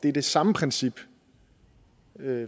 er det samme princip